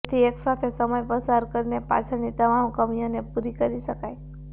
જેથી એકસાથે સમય પસાર કરીને પાછળની તમામ કમીઓને પૂરી કરી શકાય